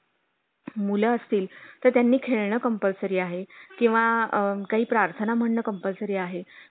time नसला तरी time काढून येऊ काय problem नाही.